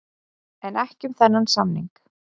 En ekki um þennan samning.